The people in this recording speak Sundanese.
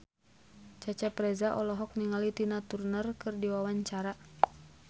Cecep Reza olohok ningali Tina Turner keur diwawancara